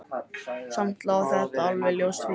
Samt lá þetta alveg ljóst fyrir.